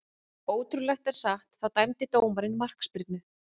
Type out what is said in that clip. Ótrúlegt en satt, þá dæmdi dómarinn markspyrnu.